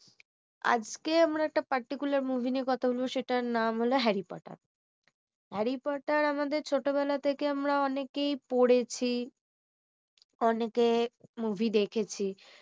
আজকে আমরা একটা particular movie নিয়ে কথা বলব সেটার নাম হলো harry porter harry porter আমাদের ছোটবেলা আমাদের ছোটবেলা থেকে আমরা অনেকেই পড়েছি অনেকে movie দেখেছি